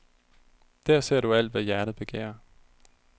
Der ser du alt, hvad hjertet begærer.